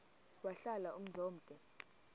wahlala umzum omde